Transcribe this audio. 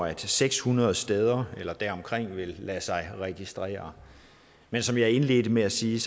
at seks hundrede steder eller deromkring vil lade sig registrere men som jeg indledte med at sige